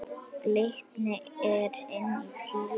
Glitnir er inn tíundi